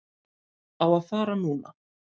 Á að fara núna.